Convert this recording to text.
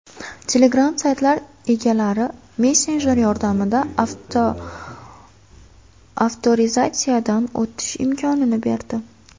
Telegram saytlar egalariga messenjer yordamida avtorizatsiyadan o‘tish imkonini berdi.